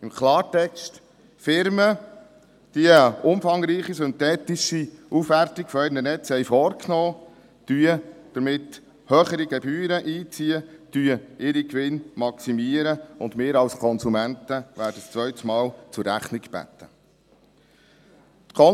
Im Klartext: Firmen, die eine umfangreiche synthetische Aufwertung ihrer Netze vorgenommen haben, ziehen damit höhere Gebühren ein, maximieren ihre Gewinne, und wir als Konsumenten werden ein zweites Mal zur Rechnung gebeten.